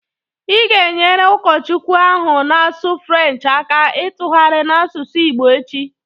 Ị ga e nyere Ụkọchukwu ahụ na-asụ French aka tụgharia n' asụsụ Igbo echi